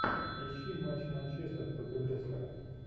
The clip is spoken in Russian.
ищи матч манчестер против лестера